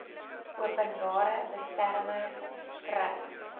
openbare beskermer skryf